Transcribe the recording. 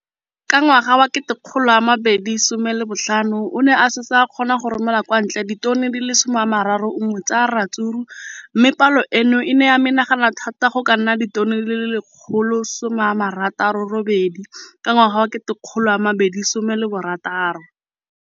Ka ngwaga wa 2015, o ne a setse a kgona go romela kwa ntle ditone di le 31 tsa ratsuru mme palo eno e ne ya menagana thata go ka nna ditone di le 168 ka ngwaga wa 2016.